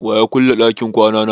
Wa ya ƙulle ɗakin kwana na?